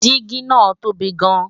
́dígí ńáà tóbi gan-n